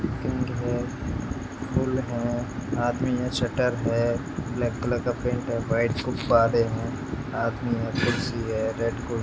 King है pool है आदमी है शटर है ब्लैक कलर का पेंट है वाइट गुब्बारे है आदमी है कुर्सी है रेड कुर्सी है।